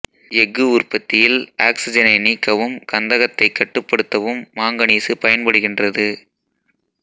எஃகு உற்பத்தியில் ஆக்சிசனை நீக்கவும் கந்தகத்தை கட்டுப்படுத்தவும் மாங்கனீசு பயன்படுகின்றது